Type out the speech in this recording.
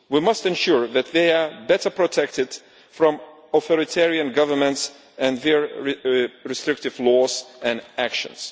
We must ensure that they are better protected from authoritarian governments and their restrictive laws and actions.